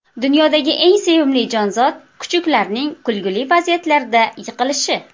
Dunyodagi eng sevimli jonzot kuchuklarning kulgili vaziyatlarda yiqilishi.